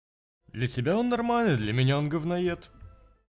для тебя он нормальный для меня он гавноед